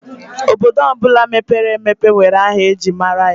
Obodo ọbụla mepere emepe nwere aha ejiri mara ya.